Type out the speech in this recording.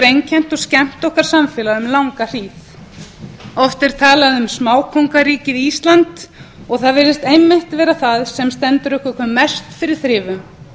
einkennt og skemmt okkar samfélag um langa hríð oft er talað um smákóngaríkið ísland og það virðist einmitt vera það sem stendur okkur hve mest fyrir þrifum